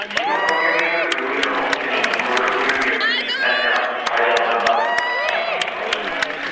кино көргеннің өзі бір өнер ғой мхм киноны көріп өзіңе бір нәрсе пайдалы зат алу мхм сол үшін